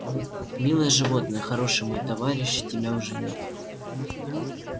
милое животное хороший мой товарищ тебя уже нет